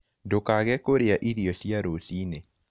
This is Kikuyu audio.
Ndũkage kũrĩa irio cia rũcĩĩnĩ